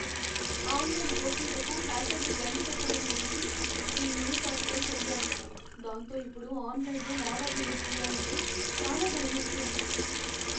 Online గోప్యతకు హ్యాకర్లు గండి కొట్టటం గురించి ఈ న్యూస్ ఆర్టికల్ చదివాను, దాంతో ఇప్పుడు ఆన్లైన్లో లావాదేవీలు చేయాలంటే చాలా భయమేస్తోంది.